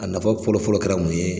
A nafa fɔlɔ fɔlɔ kɛra mun ye.